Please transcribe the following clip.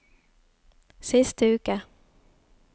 siste uke